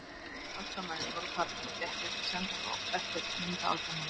Allir aðstoðarmennirnir voru farnir og því ekki hægt að senda þá eftir myndaalbúmunum.